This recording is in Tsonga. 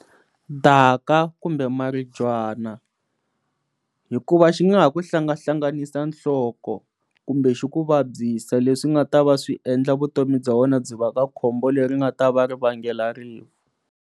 Daka kumbe maribyana, hikuva xi nga ha ku hlangahlanganisa nhloko kumbe xi ku vabyisa leswi nga ta va swiendla vutomi bya wena byi va ka khombo leri nga ta va ri vanga rifu.